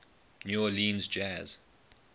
new orleans jazz